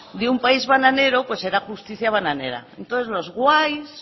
de un país bananero pues era justicia bananera entonces los guays